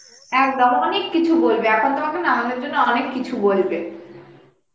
একদম অনেক কিছু বলবে এখন তোমাকে নামানোর জন্য অনেক কিছু বলবে